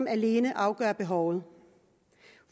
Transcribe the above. alene afgør behovet